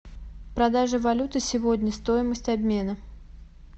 продажа валюты сегодня стоимость обмена